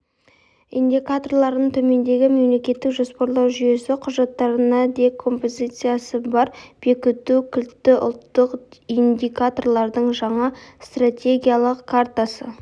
индикаторларының төмендегі мемлекеттік жоспарлау жүйесі құжаттарына декомпозициясы бар бекіту кілтті ұлттық индикаторлардың жаңа стратегиялық картасы